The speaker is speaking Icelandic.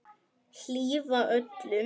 Hlífa öllum.